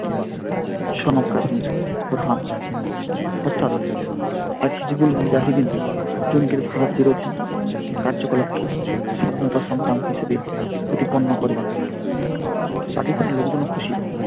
son of kashmir Burhan অর্থাৎ মুজাহীদিন জঙ্গির ফাঁদ বিরোধী কার্যকলাপে স্বাধীনতা সংগ্রাম হিসেবে প্রতিপন্ন করে পাকিস্তানের লোকজনও খুশি।